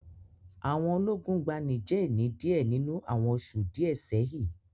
Àwọn ológun gba Niger ni díẹ̀ nínú àwọn oṣù díẹ̀ sẹ́hi